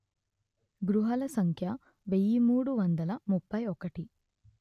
గృహాల సంఖ్య వెయ్యి మూడు వందల ముప్పై ఒకటి